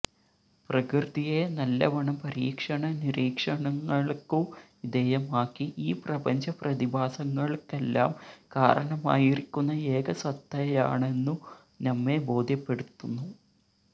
പ്രകൃതിയെ നല്ലവണ്ണം പരീക്ഷണ നിരീക്ഷണങ്ങൾക്കു വിധേയമാക്കി ഈ പ്രപഞ്ച പ്രതിഭാസങ്ങൾക്കെല്ലാം കാരണമായിരിക്കുന്ന ഏകസത്തയാണെന്നു നമ്മെ ബോധ്യപ്പെടുത്തുന്നു